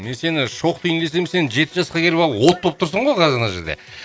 мен сені шоқ дейін десем сен жеті жасқа келіп алып от болып тұрсың ғой қазір мына жерде